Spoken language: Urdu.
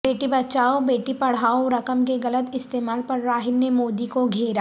بیٹی بچاو بیٹی پڑھا و رقم کے غلط استعمال پر راہل نے مودی کو گھیرا